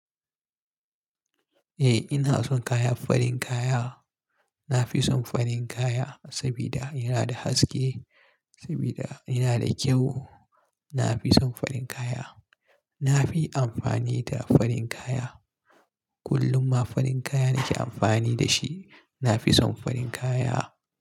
Eh ina son kayan farin kaya. Na fi son farin kaya saboda yana da haske, saboda yana da kyau. Na fi son farin kaya. Na fi amfani da farin kaya. Kullum ma farin kaya nake amfani da shi. Na fi son farin kaya.